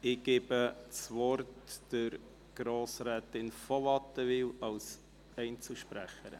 – Ich gebe Frau von Wattenwyl das Wort als Einzelsprecherin.